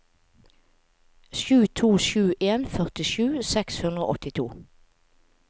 sju to sju en førtisju seks hundre og åttito